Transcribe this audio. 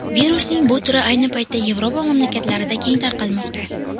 Virusning bu turi ayni paytda Yevropa mamlakatlarida keng tarqalmoqda.